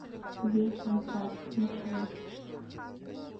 вилсон паб маршрут